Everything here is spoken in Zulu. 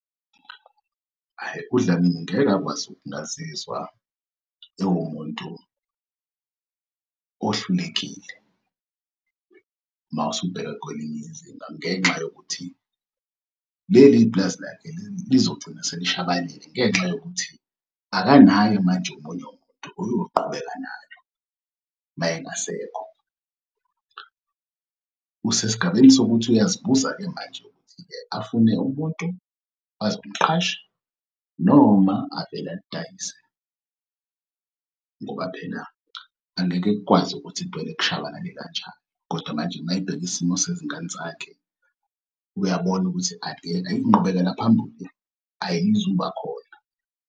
Hhayi, uDlamini ngeke akwazi ukungazizwa ewumuntu ohlulekile, mawusubheka kwelinye izinga ngenxa yokuthi leli pulazi lakhe lizogcina selishabalele, ngenxa yokuthi akanaye manje omunye umuntu oyoqhubeka nalo, uma engasekho. Usesigabeni sokuthi uyazibuza-ke manje ukuthi-ke afune umuntu azomqasha noma avele alidayise ngoba phela angeke kukwazi ukuthi kuvele kushabalale kanjalo, kodwa manje uma ebheka isimo sezingane zakhe, uyabona ukuthi inqubekela phambili ayizuba khona.